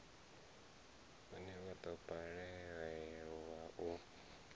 une wa do balelwa u